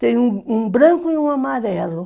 Tem um um branco e um amarelo.